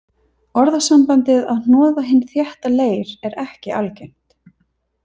Orðasambandið að hnoða hinn þétta leir er ekki algengt.